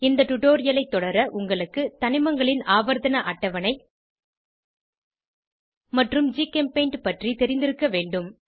இந்த டுடோரியலை தொடர உங்களுக்கு தனிமங்களின் ஆவர்த்தண அட்டவணை மற்றும் ஜிகெம்பெய்ண்ட் பற்றி தெரிந்திருக்க வேண்டும்